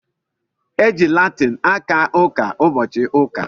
E ji Latin aka ụka ụbọchị ụka